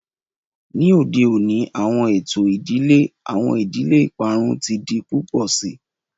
Ni ode oni awọn eto idile, awọn idile iparun ti di pupọ sii.